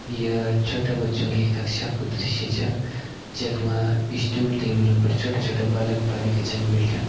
य छोटा बच्चों की कक्षा कु दृश्य छ जख मा स्टूल टेबलों पर छोटा-छोटा बालक-बालिका छन बैठ्यां।